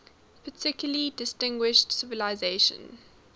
particularly distinguished civilization